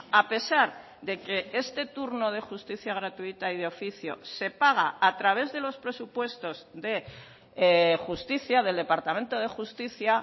a pesar de que este turno de justicia gratuita y de oficio se paga a través de los presupuestos de justicia del departamento de justicia